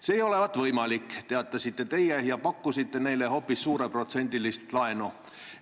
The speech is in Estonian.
See ei olevat võimalik, teatasite teie ja pakkusite neile hoopis suureprotsendilist laenu.